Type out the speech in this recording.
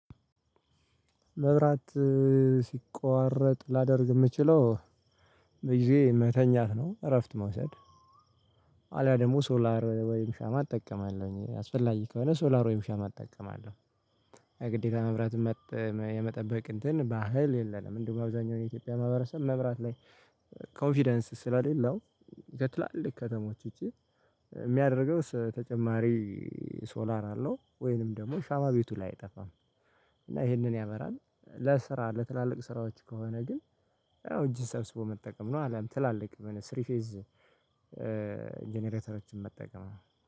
መብራት ሲቋረጥ ላደርግ የምችለው በጊዜ መተኛት ነው እረፍት መውሰድ። አሊያ ደግሞ ሶላር ወይም ሻማ እጠቀማለሁኝ አስፈላጊ ከሆነ ሶላር ወይም ሻማ እጠቀማለሁ። ግዴታ መብራት የመጠበቅ እንትን ባህል የለም። እንደው አብዛኛው የኢትዮጵያ ማህበረሰብ መብራት ላይ ኮንፊደንስ ስለሌለው። ከትላልቅ ከተሞች ውጪ የሚያደርገው ተጨማሪ ሶላር አለው። ወይንም ደግሞ ሻማ ቤቱ ላይ አይጠፋም። እና ይህንን ያመራል ለስራ ለትላልቅ ስራዎች ከሆነ ግን አዎ እጅን ሰብስቦ መጠቀም ነው። አለም ትላልቅ ስሪ ፌዝ ጀነሬተሮችን መጠቀም